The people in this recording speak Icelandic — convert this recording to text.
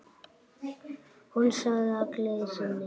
Hún sagði í gleði sinni